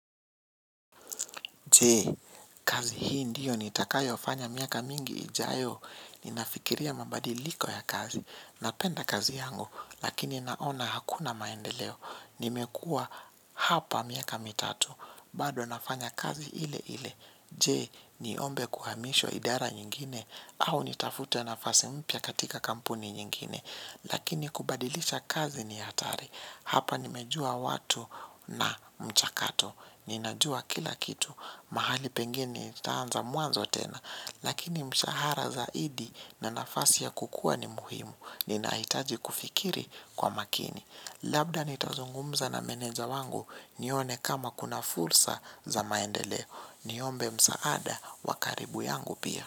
Jee, kazi hii ndiyo ni takayo fanya miaka mingi ijayo? Ninafikiria mabadiliko ya kazi. Napenda kazi yangu, lakini naona hakuna maendeleo. Nimekua hapa miaka mitatu. Bado nafanya kazi ile ile. Jee, niombe kuhamishwa idara nyingine? Au nitafute nafasi mpya katika kampuni nyingine. Lakini kubadilisha kazi ni hatari. Hapa nimejua watu na mchakato. Ninajua kila kitu, mahali pengini nitaanza muanzo tena. Lakini mshahara zaidi na nafasi ya kukua ni muhimu. Ninaitaji kufikiri kwa makini. Labda nitazungumza na meneja wangu. Nione kama kuna fursa za maendeleo. Niombe msaada wa karibu yangu pia.